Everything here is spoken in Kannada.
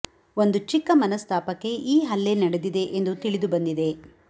ಒಂದು ಚಿಕ್ಕ ಮನಸ್ತಾಪಕ್ಕೆ ಈ ಹಲ್ಲೆ ನಡೆದಿದೆ ಎಂದು ತಿಳಿದು ಬಂದಿದೆ